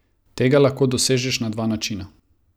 Tega lahko dosežeš na dva načina.